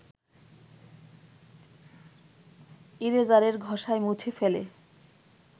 ইরেজারের ঘষায় মুছে ফেলে